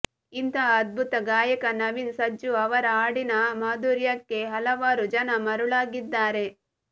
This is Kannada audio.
ಇಂತಹ ಅದ್ಭುತ ಗಾಯಕ ನವೀನ್ ಸಜ್ಜು ಅವರ ಹಾಡಿನ ಮಾಧುರ್ಯಕ್ಕೆ ಹಲವಾರು ಜನ ಮರುಳಾಗಿದ್ದಾರೆ